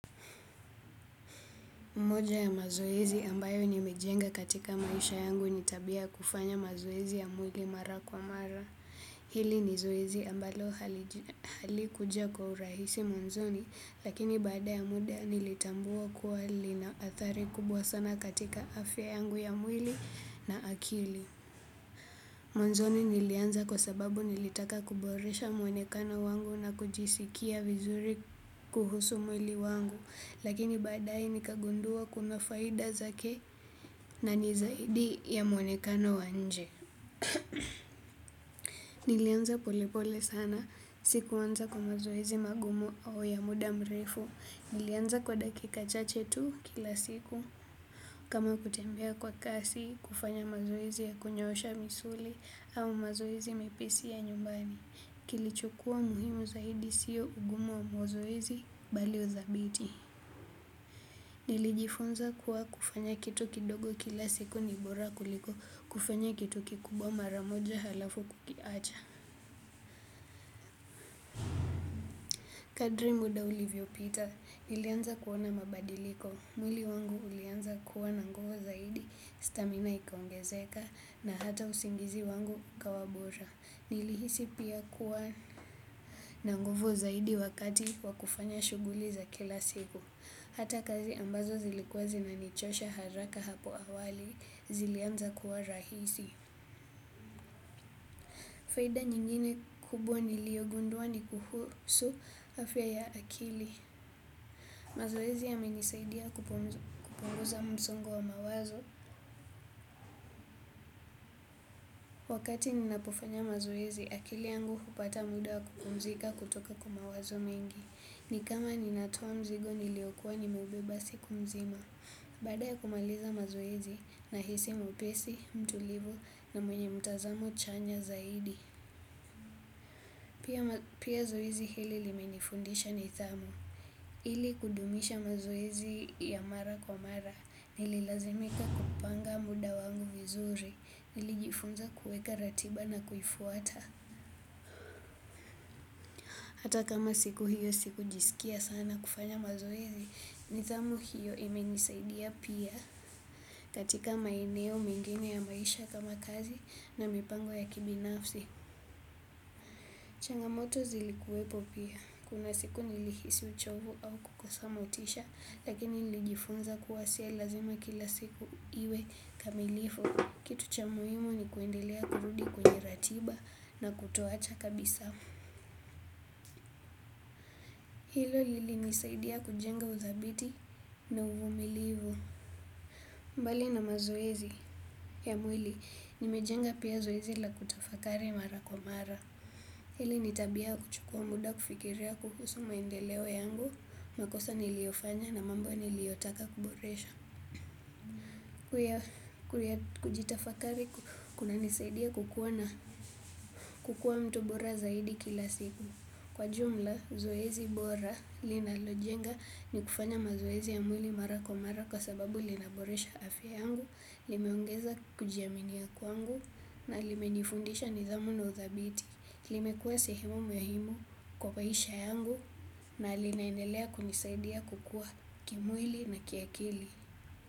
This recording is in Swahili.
Moja ya mazoezi ambayo nimejenga katika maisha yangu ni tabia kufanya mazoezi ya mwili mara kwa mara. Hili ni zoezi ambalo hali kuja kwa urahisi mwanzoni, lakini bada ya muda nilitambua kuwa lina athari kubwa sana katika afya yangu ya mwili na akili. Mwanzoni nilianza kwa sababu nilitaka kuboresha mwonekano wangu na kujisikia vizuri kuhusu mwili wangu. Lakini badae nikagundua kuna faida zake na ni zaidi ya mwonekano wa nje. Nilianza pole pole sana. Sikuanza kwa mazoezi magumu au ya muda mrefu. Nilianza kwa dakika chache tu kila siku. Kama kutembea kwa kasi, kufanya mazoezi ya kunyosha misuli au mazoezi mepesi ya nyumbani. Kilichokua muhimu zaidi siyo ugumu wa mazoezi bali uthabiti. Nilijifunza kuwa kufanya kitu kidogo kila siku ni bora kuliko kufanya kitu kikubwa mara moja halafu kukiacha. Kadri muda ulivyopita nilianza kuona mabadiliko. Mwili wangu ulianza kuwa na nguvu zaidi, stamina ikaongezeka na hata usingizi wangu ukawa bora. Nilihisi pia kuwa na nguvu zaidi wakati wa kufanya shughuli za kila siku. Hata kazi ambazo zilikuwa zinanichosha haraka hapo awali zilianza kuwa rahisi. Faida nyingine kubwa niliogundua ni kuhusu afya ya akili. Mazoezi yamenisaidia kupunguza msongo wa mawazo. Wakati ninapofanya mazoezi, akili yangu hupata muda wa kupumzika kutoka kwa mawazo mengi. Ni kama ninatoa mzigo niliokua nimeubeba siku mzima. Baada ya kumaliza mazoezi nahisi mwepesi, mtulivu na mwenye mtazamo chanya zaidi. Pia zoezi hili limenifundisha nidhamu. Ili kudumisha mazoezi ya mara kwa mara, nililazimika kupanga muda wangu vizuri, nilijifunza kuweka ratiba na kuifuata. Hata kama siku hiyo siku sikujisikia sana kufanya mazoezi, nidhamu hiyo imenisaidia pia. Katika maeneo mengine ya maisha ya kazi na mipango ya kibinafsi. Changamoto zilikuwepo pia. Kuna siku nilihisi uchovu au kukosa motisha. Lakini nilijifunza kuwasia lazima kila siku iwe kamilifu. Kitu cha muhimu ni kuendelea kurudi kwenye ratiba na kutoacha kabisa. Hilo lilinisaidia kujenga uthabiti na uvumilifu. Mbali na mazoezi ya mwili. Nimejenga pia zoezi la kutafakari mara kwa mara. Hili ni tabia kuchukua muda kufikiria kuhusu maendeleo yangu. Makosa niliofanya na mambo niliotaka kuboresha. Kujitafakari kunanisaidia kukuwa na kukuwa mtu bora zaidi kila siku. Kwa jumla zoezi bora linalojenga ni kufanya mazoezi ya mwili mara kwa mara kwa sababu linaboresha afya yangu. Limeongeza kujiamini ya kwangu na limenifundisha nidhamu na uthabiti. Limekuwa sehemu muhimu kwa maisha yangu na linaendelea kunisaidia kukua kimwili na kiakili.